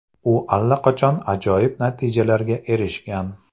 U allaqachon ajoyib natijalarga erishgan.